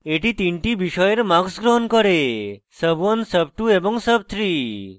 এটি তিনটি বিষয়ের marks গ্রহণ করেsub1 sub2 এবং sub3